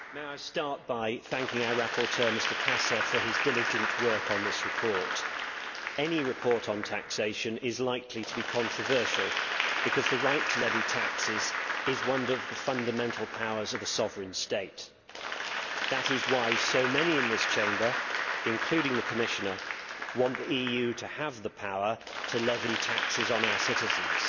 Madam President, may I start by thanking our rapporteur, Mr Casa, for his diligent work on this report. Any report on taxation is likely to be controversial because the right to levy tax is one of the fundamental powers of a sovereign state. That is why so many in this Chamber, including the Commissioner, want the EU to have the power to levy taxes on our citizens